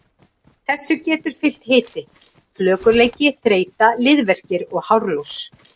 Þessu getur fylgt hiti, flökurleiki, þreyta, liðverkir og hárlos.